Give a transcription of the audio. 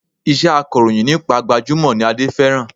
Iṣẹ́ akọ̀rọ̀yìn nípa gbajúmọ̀ ni Adé fẹ́ràn